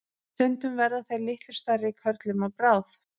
stundum verða þeir litlu stærri körlum að bráð